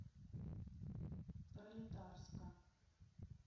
пролетарска